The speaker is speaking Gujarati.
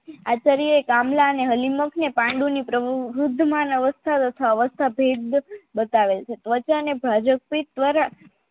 આચાર્ય એ કામલા અને હાલીમાંતને પાંડુની વૃદ્ધમાન અવસ્થા અથવા અવસ્થા ભેદ બતાવેલ છે ત્વચા ને દ્વારા